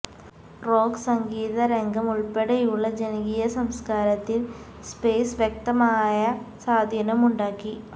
rock സംഗീത രംഗം ഉൾപ്പെടെയുള്ള ജനകീയ സംസ്കാരത്തിൽ സ്പേസ് വ്യക്തമായ സ്വാധീനമുണ്ടാക്കി